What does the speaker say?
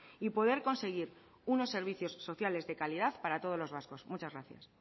y poder conseguir unos servicios sociales de calidad para todos los vascos muchas gracias